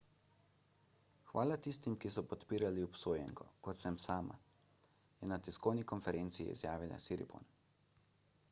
hvala tistim ki so podpirali obsojenko kot sem sama je na tiskovni konferenci izjavila siriporn